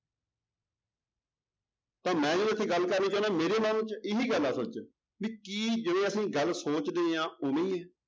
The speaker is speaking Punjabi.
ਤਾਂ ਮੈਂ ਜੋ ਇੱਥੇ ਗੱਲ ਕਰਨੀ ਚਾਹੁਨਾ ਮੇਰੇ ਮਨ ਚ ਇਹੀ ਗੱਲ ਆ ਅਸਲ ਚ ਵੀ ਕੀ ਜਿਹੜੇ ਅਸੀਂ ਗੱਲ ਸੋਚਦੇ ਹਾਂ ਉਵੇਂ ਹੀ ਹੈ।